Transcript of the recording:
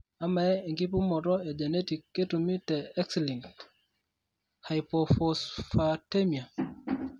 Amaa, enkipimoto e genetic ketumi te X linked hypophosphatemia?